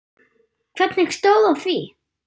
Hvernig stóð á því?